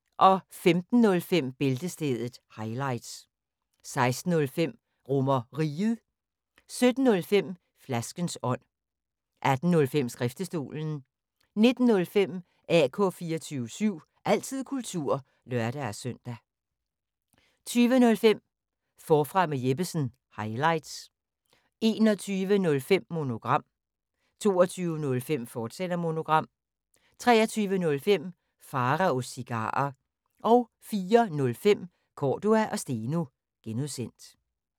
15:05: Bæltestedet – highlights 16:05: RomerRiget 17:05: Flaskens ånd 18:05: Skriftestolen 19:05: AK 24syv – altid kultur (lør-søn) 20:05: Forfra med Jeppesen – highlights 21:05: Monogram 22:05: Monogram, fortsat 23:05: Pharaos Cigarer 04:05: Cordua & Steno (G)